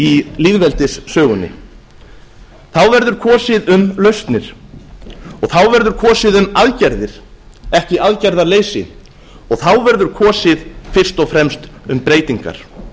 í lýðveldissögunni þá verður kosið um lausnir og þá verður kosið um aðgerðir ekki aðgerðaleysi og þá verður kosið fyrst og fremst um breytingar